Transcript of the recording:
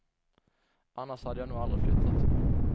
Annars hade jag nog aldrig flyttat.